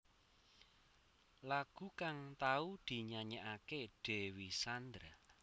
Lagu kang tau dinyanyékaké Dewi Sandra